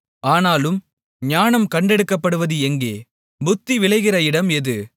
ஆனாலும் ஞானம் கண்டெடுக்கப்படுவது எங்கே புத்தி விளைகிற இடம் எது